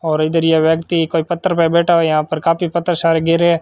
और इधर ये व्यक्ति कोई पत्थर पे बैठा हुआ यहां पर काफी पत्थर सारे गिरे--